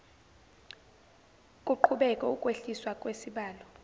kuqhubeke ukwehliswa kwesibalo